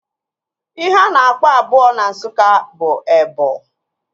Ihe a na-akpọ abụọ n'asụsụ Nsụka bụ ebọ